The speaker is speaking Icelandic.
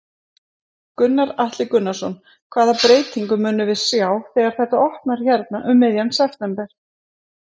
Gunnar Atli Gunnarsson: Hvaða breytingu munum við sjá þegar þetta opnar hérna um miðjan september?